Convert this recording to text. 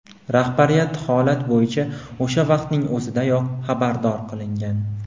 Rahbariyat holat bo‘yicha o‘sha vaqtning o‘zidayoq xabardor qilingan.